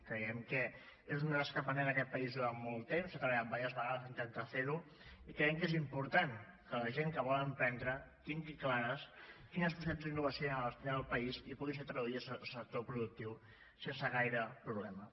creiem que és una tasca pendent en aquest país durant molt temps s’ha treballat diverses vegades per intentar fer ho i creiem que és important que la gent que vol emprendre tingui clares quines possibilitats d’innovació hi han al país i que puguin ser traduïdes al sector productiu sense gaire problema